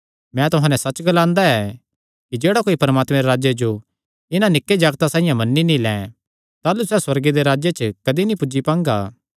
मैं तुहां नैं सच्च ग्लांदा कि जेह्ड़ा कोई परमात्मे दे राज्जे जो इन्हां निक्के जागते साइआं मन्नी नीं लैं ताह़लू सैह़ सुअर्गे दे राज्जे च कदी नीं पुज्जी पांगा